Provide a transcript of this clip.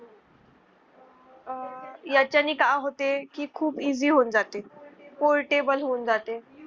आह याच्या नि काय होते की खूप easy होऊन जाते. portable होऊन जाते.